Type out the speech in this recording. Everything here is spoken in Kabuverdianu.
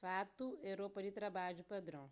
fatu é ropa di trabadju padron